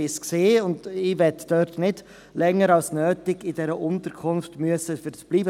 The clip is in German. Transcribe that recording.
Ich war dort, und ich möchte nicht länger als nötig in dieser Unterkunft bleiben müssen.